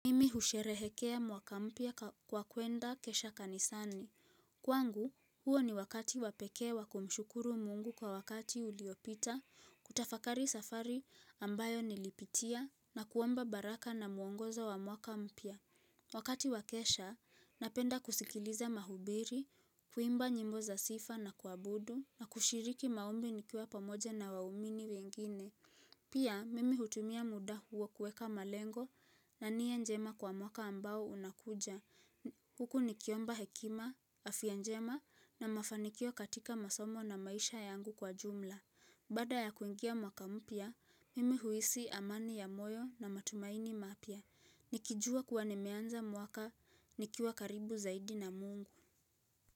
Mimi husherehekea mwaka mpya kwa kuenda kesha kanisani. Kwangu, huo ni wakati wapekee wakumshukuru mungu kwa wakati uliopita, kutafakari safari ambayo nilipitia na kuomba baraka na muongoza wa mwaka mpya. Wakati wakesha, napenda kusikiliza mahubiri, kuimba nyimbo za sifa na kuabudu, na kushiriki maombi nikiwa pamoja na waumini wengine. Pia mimi hutumia muda huo kueka malengo na nia njema kwa mwaka ambao unakuja. Huku ni kiomba hekima, afya njema na mafanikio katika masomo na maisha yangu kwa jumla. Baada ya kuingia mwaka mpya, mimi huisi amani ya moyo na matumaini mapya. Nikijua kuwa nimeanza mwaka nikiwa karibu zaidi na mungu.